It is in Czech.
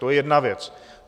To je jedna věc.